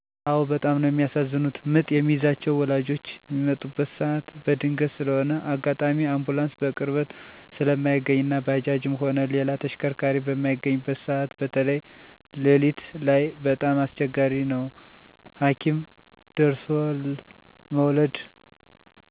አዎ በጣም ነው የሚያሳዝኑት ምጥ የሚይዛቸው ወላጆች ሚመጣበት ሰዓት በድንገት ስለሆነ አጋጣሚ አንቡላንስ በቅርበት ስለማይገኝ እና ባጃጅም ሆነ ሌላ ተሽከርካሪ በማይገኝበት ሰዓት በተይ ለሊት ላይ በጣም አስቸጋሪ ነው ሀኪም ደርሦለ መዉለድ። እና እኔ ያጋጠመኝ ምኖርበት ሰፈር ለሊት ስድስት ሰዓት ላይ ምጥ ይዟት እውይ እውይ የባሏን፣ የእናቷን ስም እየጠራች እስክትወልድ ድረስ እም እም እያለች እያለቀሰች የሰፈር አዋላጅ አዋልዳት ብዙ ደም ሲፈሳት አይቻለሁ። ይህን ለመቀነስ መደረግ ያለበት ነገር እናቶችን እና ባሎችን የምክር አገልግሎት ብመስጠት ለትውልድ ሁለት ሲቀራቸው ሀኪም አካባቢ እንዲቀርቡ ማድረግ ተገቢ ነው።